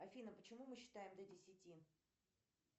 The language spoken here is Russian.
афина почему мы считаем до десяти